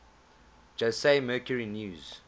jose mercury news